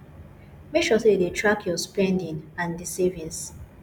make sure sey you dey track your spending and di savings